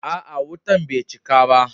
A'a, wutan bai cika ba.